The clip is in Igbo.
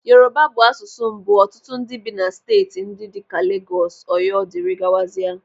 Yoruba bụ asụsụ mbụ ọtụtụ ndị bi na steeti ndị dịka Legọs, Ọyọ, dirigawazia.